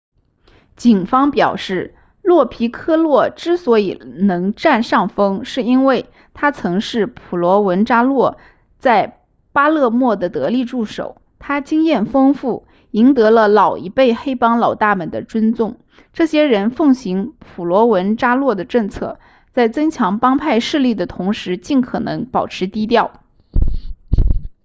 警方表示洛皮科洛之所以能占上风是因为他曾是普罗文扎诺在巴勒莫的得力助手他经验丰富赢得了老一辈黑帮老大们的尊重这些人奉行普罗文扎诺的政策在增强帮派势力的同时尽可能保持低调